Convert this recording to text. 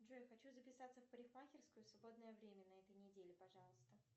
джой хочу записаться в парикмахерскую свободное время на этой неделе пожалуйста